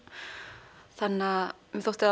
þótti